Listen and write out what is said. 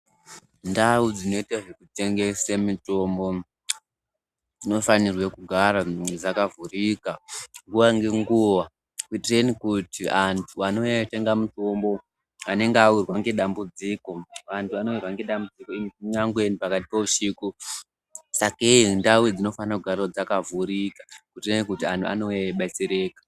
Ndau dzinoita zvekutengese mitombo dzinofanire kugara dzakavhurika nguwa ngenguwa kuitireni kuti anhu anouya eitenga mutombo anenge awirwa ngedambudziko, vanhu vanowirwa ngedambudziko kunyangeni pakati peusiku sakei ndau idzi dzinofanira kugara dzakavhurika kuitereni anhu anouya eibetsereka.